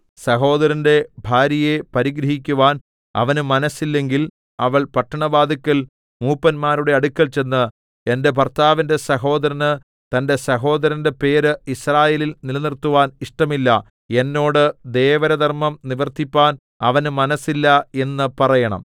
സഹോദരന്റെ ഭാര്യയെ പരിഗ്രഹിക്കുവാൻ അവന് മനസ്സില്ലെങ്കിൽ അവൾ പട്ടണവാതില്ക്കൽ മൂപ്പന്മാരുടെ അടുക്കൽ ചെന്ന് എന്റെ ഭർത്താവിന്റെ സഹോദരന് തന്റെ സഹോദരന്റെ പേര് യിസ്രായേലിൽ നിലനിർത്തുവാൻ ഇഷ്ടമില്ല എന്നോട് ദേവരധർമ്മം നിവർത്തിപ്പാൻ അവന് മനസ്സില്ല എന്നു പറയണം